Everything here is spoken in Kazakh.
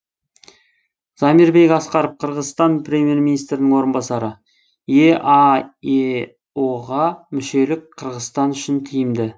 замирбек аскаров қырғызстан премьер министрінің орынбасары еаэо ға мүшелік қырғызстан үшін тиімді